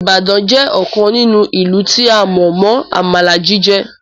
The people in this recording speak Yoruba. Ìbàdàn jẹ́ ọ̀kan nínú ìlú tí a mọ̀ mọ Àmàlà jíjẹ